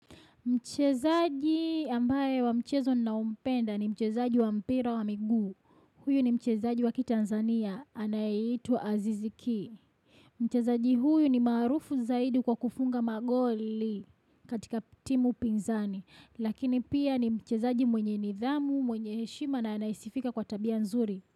Mchezaji ambaye wa mchezo naompenda ni mchezaji wa mpira wa miguu. Huyu ni mchezaji wa kitanzania, anayeitwa Aziziki. Mchezaji huyu ni maarufu zaidi kwa kufunga magoli katika timu pinzani. Lakini pia ni mchezaji mwenye nidhamu, mwenye heshima na anayesifika kwa tabia nzuri.